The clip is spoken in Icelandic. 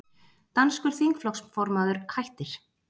Danskur þingflokksformaður hættir